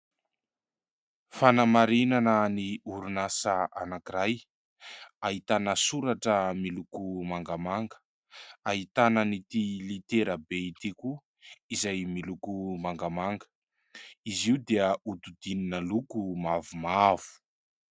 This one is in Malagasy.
Fanamarinana ny orinasa anankiray. Ahitana soratra miloko mangamanga, ahitana an'ity litera be ity koa izay miloko mangamanga. Izy io dia hodidinina loko mavomavo.